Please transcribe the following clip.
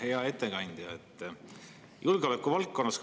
Hea ettekandja!